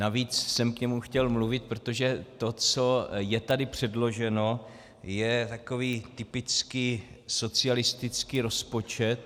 Navíc jsem k němu chtěl mluvit, protože to, co je tady předloženo, je takový typický socialistický rozpočet.